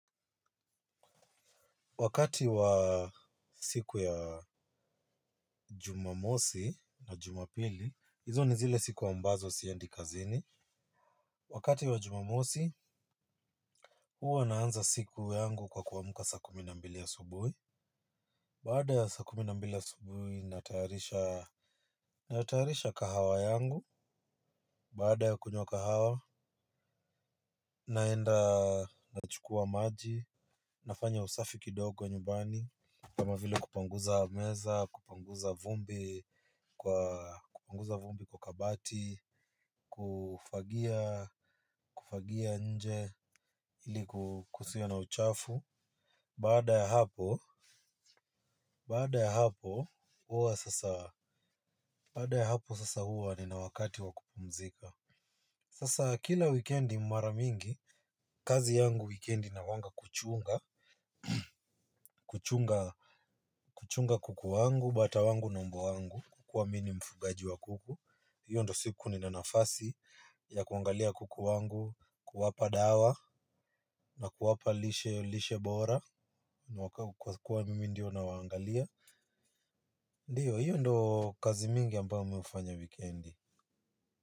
Wakati wa siku ya jumamosi na jumapili, hizo ni zile siku ambazo siendi kazini. Wakati wa jumamosi, hua naanza siku yangu kwa kuamuka sa kuminambili ya subuhi. Baada ya sa kuminambili ya subuhi, nataharisha kahawa yangu. Baada ya kunyo kahawa, naenda nachukua maji. Nafanya usafi kidogo nyubani kama vile kupanguza meza kupanguza vumbi kupanguza vumbi kwa kabati kufagia kufagia nje ili kusio na uchafu baada ya hapo baada ya hapo uwa sasa baada ya hapo sasa huwa ni na wakati wakupumzika sasa kila weekendi maramingi kazi yangu weekendi inakuwanga kuchunga kuchunga kuchunga kuku wangu bata wangu na mbwa wangu kua mini mfugaji wa kuku hiyo ndo siku ni na nafasi ya kuangalia kuku wangu kuwapa dawa na kuwapa lishe lishe bora. Kwa kuwa mimi ndio na wa angalia. Ndiyo hiyo ndio kazi mingi ambayo mimi hufanya wikendi.